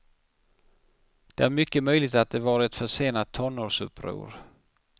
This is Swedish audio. Det är mycket möjligt att det var ett försenat tonårsuppror.